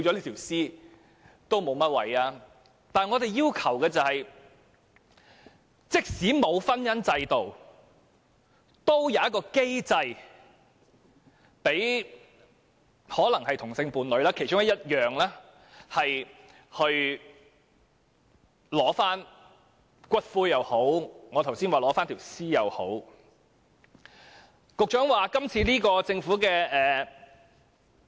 可是，我們要求的是，即使沒有婚姻制度，也要有機制讓同性伴侶——這只是其中一點——取回骨灰，或像我剛才所說的情況，取回遺體。